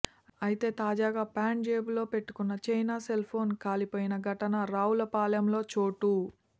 అయితే తాజాగా ప్యాంటు జేబులో పెట్టుకున్న చైనా సెల్ఫోన్ కాలిపోయిన ఘటన రావుల పాలెం లో చోటు